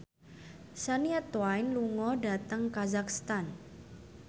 Shania Twain lunga dhateng kazakhstan